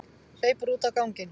Hleypur út á ganginn.